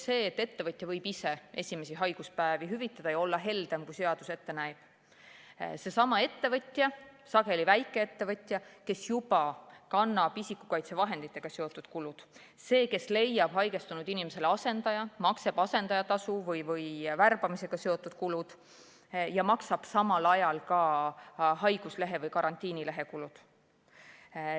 See, et ettevõtja võib ise esimesi haiguspäevi hüvitada ja olla heldem, kui seadus ette näeb – seesama ettevõtja, sageli väikeettevõtja, kes juba kannab isikukaitsevahenditega seotud kulud, kes leiab haigestunud inimestele asendaja, maksab asendajale tasu või tema värbamisega seotud kulud ja maksab samal ajal ka haiguslehe või karantiinilehe kulud.